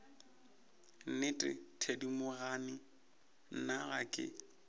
nnete thedimogane nna ga ke